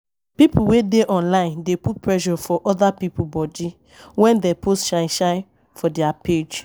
Pipo wey dey online online dey put pressure for oda pipo body when dem post shine shine for their page